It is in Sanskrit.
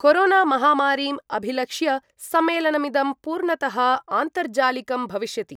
कोरोनामहामारीम् अभिलक्ष्य सम्मेलमिदं पूर्णतः आन्तर्जालिकं भविष्यति।